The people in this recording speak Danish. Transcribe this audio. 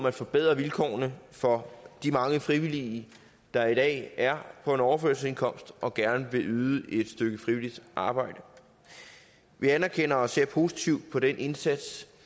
at forbedre vilkårene for de mange frivillige der i dag er på en overførselsindkomst og som gerne vil yde et stykke frivilligt arbejde vi anerkender og ser positivt på den indsats